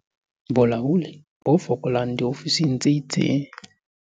Bolaodi bo fokolang diofising tse itseng